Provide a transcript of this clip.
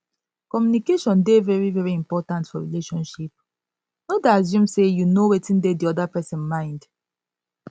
communication dey very very important for relationship no dey assume sey you know wetin dey di oda person mind